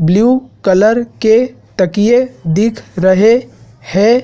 blue colour के तकिए दिख रहे हैं